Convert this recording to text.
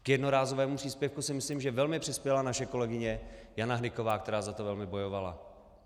K jednorázovému příspěvku si myslím, že velmi přispěla naše kolegyně Jana Hnyková, která za to velmi bojovala.